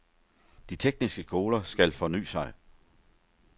De tekniske skoler skal fornye sig.